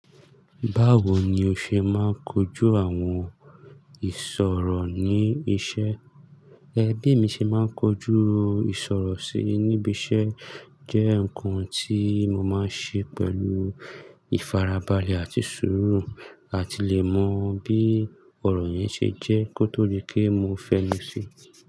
Báwo ni o ṣe máa ń kojú àwọn ìṣòro ní iṣẹ́? Ẹ bí emi ṣe máa ń kojú ìṣòro si níbi iṣẹ́. Jẹ́ ǹkan tí mo máa ń ṣe pẹ̀lú ìfarabalẹ̀ àti sùúrù. A ti le mọ bí ọ̀rọ̀ yẹn ṣe jẹ́ kó tó dí pé mo fẹ́nu ṣi.